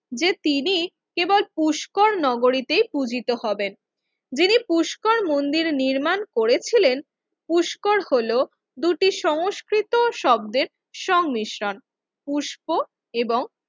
যে তিনি কেবল পুষ্কর নগরীতে পূজিত হবেন যিনি পুষ্কর মন্দির নির্মাণ করেছিলেন পুষ্কর হলো দুটি সংস্কৃত শব্দের সংমিশ্রণ পুষ্প এবং